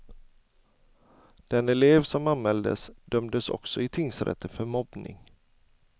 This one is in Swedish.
Den elev som anmäldes dömdes också i tingsrätten för mobbning.